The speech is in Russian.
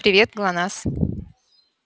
привет глонассс